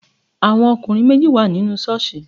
There were two men in the church